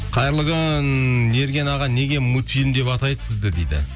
қайырлы күн ерген аға неге мультфильм деп атайды сізді дейді